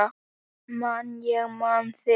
Man ég man þig